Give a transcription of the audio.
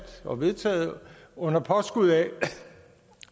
og vedtaget under påskud af